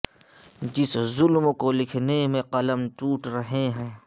جس ظلم کو لکھنے میں قلم ٹوٹ رہے ہیں